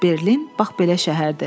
Berlin, bax belə şəhərdir.